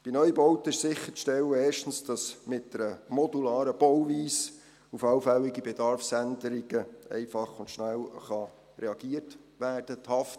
Bei Neubauten ist erstens sicherzustellen, dass mit einer modularen Bauweise auf allfällige Bedarfsänderungen einfach und schnell reagiert werden kann.